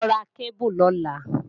Lọ ra kébù lọ́la!